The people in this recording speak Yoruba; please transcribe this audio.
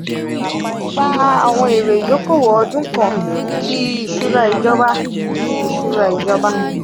a. gba awon ere idokowo odun kan ti isura ijoba ti isura ijoba.